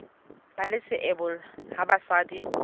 ba le seabo ha basadi